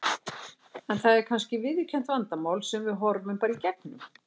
Er það kannski viðurkennt vandamál sem við horfum bara í gegnum?